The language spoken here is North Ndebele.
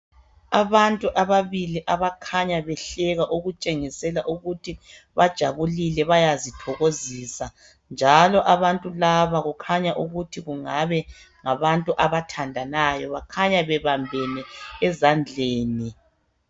Abantu ababili abakhanya behleka okutshengisela ukuthi bajabulile bayazithokozisa. Njalo abantu laba kukhanya ukuthi kungabe ngabantu abathandanayo, bakhanya bebambene ezandleni.